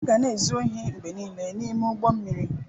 A ga na-ezu ohi mgbe niile n'ime ụgbọ mmiri.